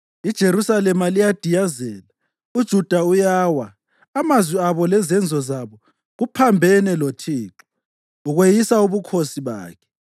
IJerusalema liyadiyazela, uJuda uyawa; amazwi abo lezenzo zabo kuphambene loThixo, kweyisa ubukhosi bakhe.